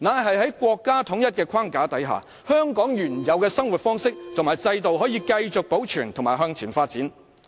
是在國家統一的框架下，香港可以繼續保留原有的生活方式和制度及向前發展。